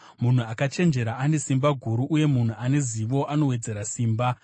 Munhu akachenjera ane simba guru, uye munhu ane zivo anowedzera simba;